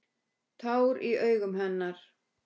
Tár í augum hennar.